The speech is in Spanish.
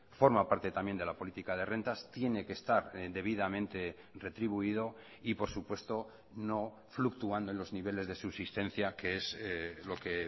forma parte también de la política de rentas tiene que estar debidamente retribuido y por supuesto no fluctuando en los niveles de subsistencia que es lo que